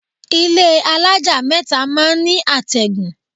Ilé alájà mẹ́ta máa ń ní àtẹ̀gùn.